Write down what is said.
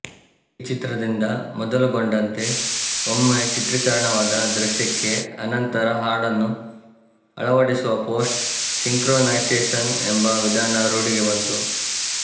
ಈ ಚಿತ್ರದಿಂದ ಮೊದಲುಗೊಂಡಂತೆ ಒಮ್ಮೆ ಚಿತ್ರಿಕರಣವಾದ ದೃಶ್ಯಕ್ಕೆ ಅನಂತರ ಹಾಡನ್ನು ಅಳವಡಿಸುವ ಪೋಸ್ಟ್ ಸಿಂಕ್ರೊನೈಸೇಷನ್ ಎಂಬ ವಿಧಾನ ರೂಢಿಗೆ ಬಂತು